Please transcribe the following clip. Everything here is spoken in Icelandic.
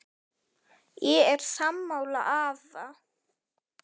Ég er sammála afa.